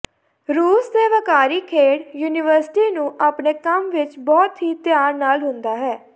ਰੂਸ ਦੇ ਵੱਕਾਰੀ ਖੇਡ ਯੂਨੀਵਰਸਿਟੀ ਨੂੰ ਆਪਣੇ ਕੰਮ ਵਿੱਚ ਬਹੁਤ ਹੀ ਧਿਆਨ ਨਾਲ ਹੁੰਦਾ ਹੈ